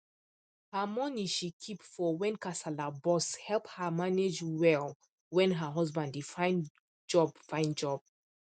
her money she keep for when kasala burst help her manage well when her husband dey find job find job